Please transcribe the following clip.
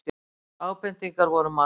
Ábendingarnar voru margar.